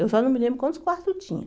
Eu só não me lembro quantos quartos tinham.